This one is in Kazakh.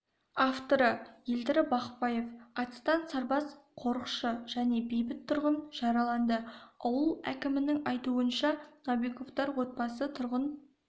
авторы елдар бақпаев атыстан сарбаз қорықшы және бейбіт тұрғын жараланды ауыл әкімінің айтуынша новиковтар отбасы тұрғын